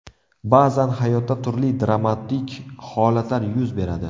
Ba’zan hayotda turli dramatik holatlar yuz beradi.